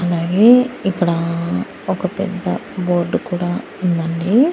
అలాగే ఇక్కడ ఒక పెద్ద బోర్డు కూడా ఉందండి.